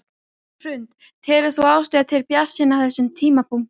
Hrund: Telur þú ástæðu til bjartsýni á þessum tímapunkti?